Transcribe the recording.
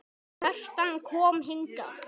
Kjartan kom hingað.